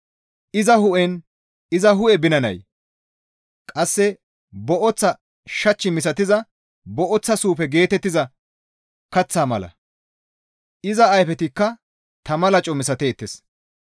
Iza hu7eynne iza hu7e binanay qasse booththa shach misatiza booththa suufe geetettiza kaththa mala; iza ayfetikka tama laco misateettes.